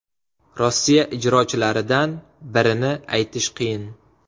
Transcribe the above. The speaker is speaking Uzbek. Rossiya ijrochilaridan birini aytish qiyin.